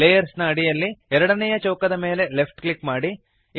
layers ನ ಅಡಿಯಲ್ಲಿ ಎರಡನೆಯ ಚೌಕದ ಮೇಲೆ ಲೆಫ್ಟ್ ಕ್ಲಿಕ್ ಮಾಡಿರಿ